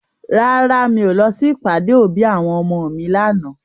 Rárá, mi ò lọ sí ìpàdé òbí àwọn ọmọ mi lànà.